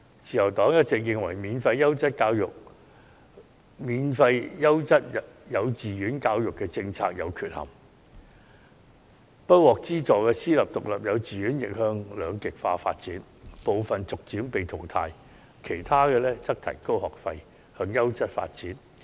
自由黨一直認為，免費優質幼稚園教育政策有缺憾，不獲資助的私立獨立幼稚園亦將向兩極化發展，部分會逐漸被淘汰，其他則會提高學費，以提高辦學質素。